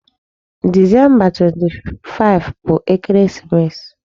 Disemba 25 bụ ekeresimesi.